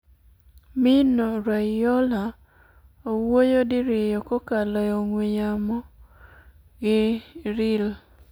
Mino Raiola owuoyo diriyo kokalo e ong'we yamo gi Real